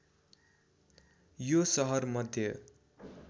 यो सहर मध्य